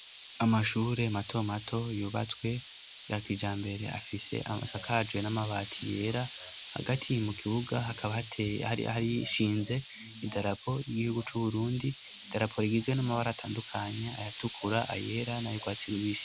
Amashure mato mato yubatswe ya kijambere afise asakajwe n'amabati yera hagati mu kibuga hakaba hateye ,harishinze idarapo ry'igihugu c'uburundi, idarapori rigizwe n'amabara atandukanya ayatukura, ayera n'ayurwatsi rubisi.